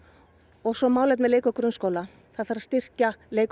og svo málefni leik og grunnskóla það þarf að styrkja leik og